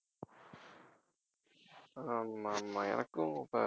ஆமா ஆமா எனக்கும் அப்ப